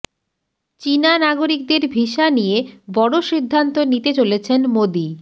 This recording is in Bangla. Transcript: চিনা নাগরিকদের ভিসা নিয়ে বড় সিদ্ধান্ত নিতে চলেছেন মোদী